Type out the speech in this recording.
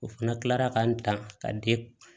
O fana kila la ka n dan ka di